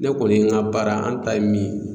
Ne kɔni ka baara an ta ye min ye